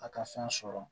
A ka fɛn sɔrɔ